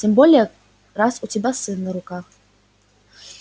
тем более раз у тебя сын на руках